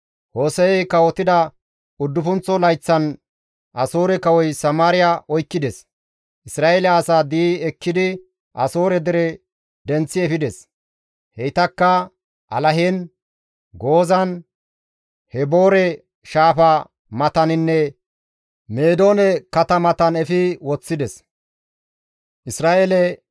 Hose7ey kawotida uddufunththo layththan Asoore kawoy Samaariya oykkides. Isra7eele asaa di7i ekkidi Asoore dere denththi efides. Heytakka Alahen, Gozaan Haboore shaafa mataninne Meedoone katamatan efi woththides.